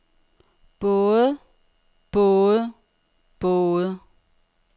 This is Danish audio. både både både